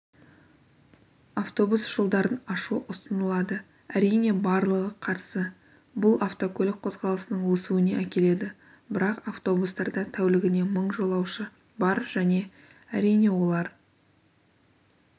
автобус жолдарын ашу ұсынылады әрине барлығы қарсы бұл автокөлік қозғалысының өсуіне әкеледі бірақ автобустарда тәулігіне мың жолаушы бар және әрине олар